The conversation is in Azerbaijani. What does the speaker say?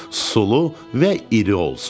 Sulu və iri olsun.